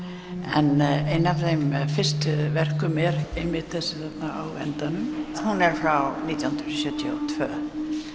en ein af þeim fyrstu verkum er þessi á endanum hún er frá nítján hundruð sjötíu og tvö